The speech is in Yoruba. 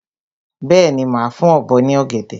Bẹ́ẹ̀ni, màá fún ọ̀bọ ní ọ̀gẹ̀dẹ̀.